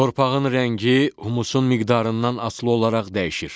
Torpağın rəngi, humusun miqdarından asılı olaraq dəyişir.